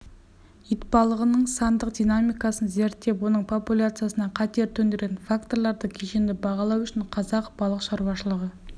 итбалығының сандық динамикасын зерттеп оның популяциясына қатер төндіретін факторларды кешенді бағалау үшін қазақ балық шаруашылығы